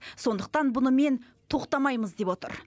сондықтан бұнымен тоқтамаймыз деп отыр